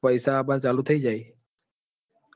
પૈસા આવા નાં ચાલુ થઇ જશે. પેલી કોક